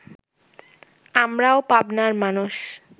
আমরাও পাবনার মানুষ